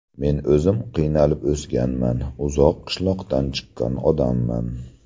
Men o‘zim qiynalib o‘sganman, uzoq qishloqdan chiqqan odamman.